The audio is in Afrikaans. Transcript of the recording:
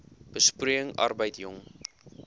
besproeiing arbeid jong